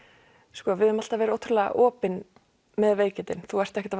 sko við höfum alltaf verið ótrúlega opin með veikindin þú ert ekkert að